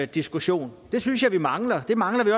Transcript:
diskussion det synes jeg vi mangler og det mangler vi